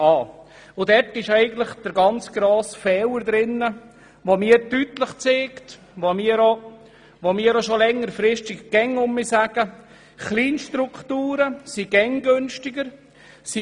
Dabei zeigt sich deutlich ein ganz grosser Fehler, und wir sagen schon seit einiger Zeit, dass Kleinstrukturen immer günstiger sind.